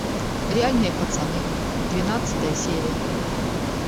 реальные пацаны двенадцатая серия